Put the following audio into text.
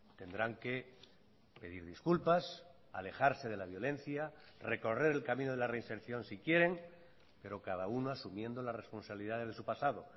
tendrán que pedir disculpas alejarse de la violencia recorrer el camino de la reinserción si quieren pero cada uno asumiendo las responsabilidades de su pasado